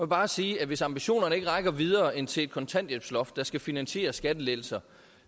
bare sige at hvis ambitionerne ikke rækker videre end til kontanthjælpsloftet der skal finansiere skattelettelser